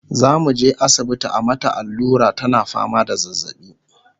zamuje asibiti a mata allura tana fama da zazzaɓi